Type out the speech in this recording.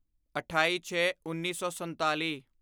ਅਠਾਈਛੇਉੱਨੀ ਸੌ ਸੰਤਾਲੀ